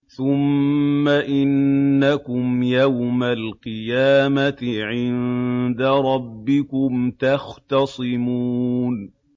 ثُمَّ إِنَّكُمْ يَوْمَ الْقِيَامَةِ عِندَ رَبِّكُمْ تَخْتَصِمُونَ